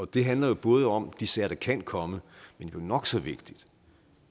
det handler jo både om de sager der kan komme men nok så vigtigt